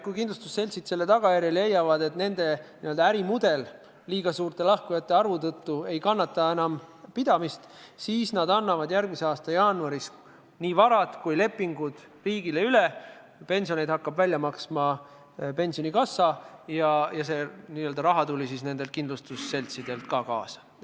Kui kindlustusseltsid selle tagajärjel leiavad, et nende n-ö ärimudel liiga suure lahkujate arvu tõttu enam vastu ei pea, siis annavad nad järgmise aasta jaanuaris nii varad kui ka lepingud riigile üle ja pensionit hakkab välja maksma pensionikassa, kusjuures see n-ö raha tuleb nendelt kindlustusseltsidelt kaasa.